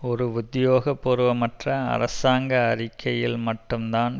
ஒரு உத்தியோகபூர்வமற்ற அரசாங்க அறிக்கையில் மட்டும் தான்